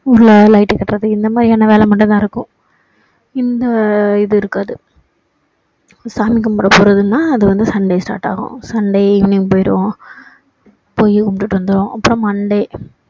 ஊருல light கட்டுறது இந்த மாதிரியான வேலை மட்டும் நடக்கும் இந்த இது இருக்காது சாமி கும்பிட போறதுன்னா அது வந்து sunday start ஆகும் sunday evening போயிருவோம் போய் கும்பிட்டு வந்துடுவோம் அப்பறோம் monday